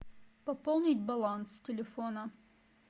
пополнить баланс телефона